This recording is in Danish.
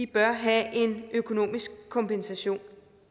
bør have en økonomisk kompensation